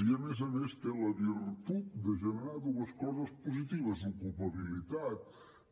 i a més a més té la virtut de generar dues coses positives ocupabilitat